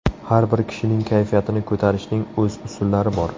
Har bir kishining kayfiyatini ko‘tarishning o‘z usullari bor.